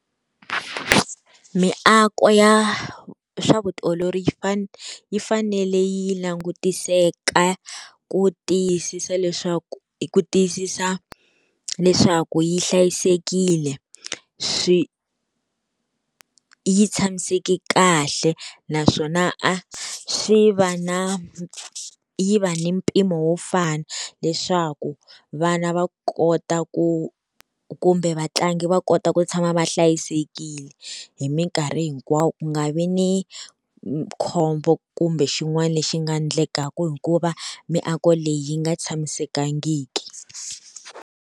Miako ya swa vutiolori yi yi fanele yi langutiseka ku tiyisisa leswaku ku tiyisisa leswaku yi hlayisekile swi yi tshamiseke kahle, naswona a swi va na yi va ni mpimo wo fana. Leswaku vana va kota ku kumbe vatlangi va kota ku tshama va hlayisekile hi minkarhi hinkwayo ku nga vi ni khombo kumbe xin'wana lexi nga endlekaka hikuva miako leyi yi nga tshamisekangiki.